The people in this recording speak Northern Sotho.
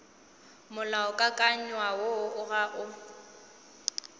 molaokakanywa woo o ga o